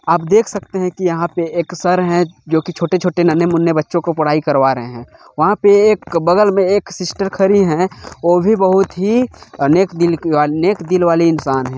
आप देख सकते है एक एक सर है जो कि छोटे-छोटे नन्हें-मुन्हे बच्चो को पढ़ाई करवा रहे है वहाँ पे एक बगल में एक सिस्टर खड़ी है वो भी बहुत अ नेक दिल की वाली नेक दिल वाली इंसान है।